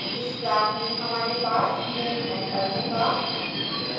इस class में हमारे पास main मैथड होगा